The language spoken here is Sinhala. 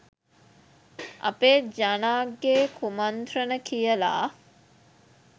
අපේ ජනාගේ කුමන්ත්‍රණ කියලා?